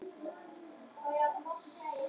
Týra, hvað er á áætluninni minni í dag?